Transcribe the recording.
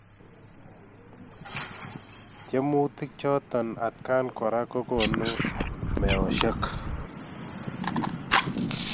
Tiemutik chotok atkan koraa kokonuu meosiek